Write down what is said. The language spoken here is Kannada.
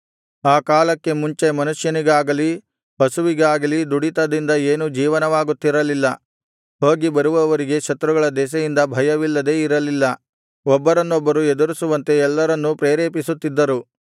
ಆ ಕಾಲಕ್ಕೆ ಮುಂಚೆ ಮನುಷ್ಯನಿಗಾಗಲಿ ಪಶುವಿಗಾಗಲಿ ದುಡಿತದಿಂದ ಏನೂ ಜೀವನವಾಗುತ್ತಿರಲಿಲ್ಲ ಹೋಗಿ ಬರುವವರಿಗೆ ಶತ್ರುಗಳ ದೆಸೆಯಿಂದ ಭಯವಿಲ್ಲದೆ ಇರಲಿಲ್ಲ ಒಬ್ಬರನೊಬ್ಬರು ಎದುರಿಸುವಂತೆ ಎಲ್ಲರನ್ನೂ ಪ್ರೇರೇಪಿಸುತ್ತಿದ್ದರು